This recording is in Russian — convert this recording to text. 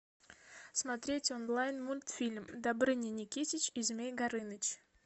смотреть онлайн мультфильм добрыня никитич и змей горыныч